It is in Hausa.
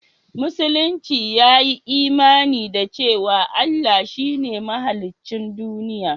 Musulunci ya yi imani da cewa Allah shi ne mahaliccin duniya